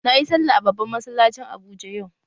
Na yi sallah a babban masallacin Abuja yau